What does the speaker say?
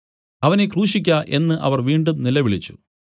അവനെ ക്രൂശിയ്ക്ക എന്നു അവർ വീണ്ടും നിലവിളിച്ചു